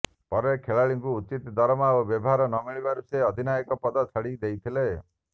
ପରେ ଖେଳାଳିଙ୍କୁ ଉଚିତ ଦରମା ଓ ବ୍ୟବହାର ନମିଳିବାରୁ ସେ ଅଧିନାୟକ ପଦ ଛାଡି ଦେଇଥିଲେ